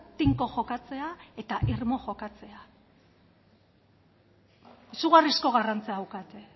tinko jokatzea eta irmo jokatzea izugarrizko garrantziak daukate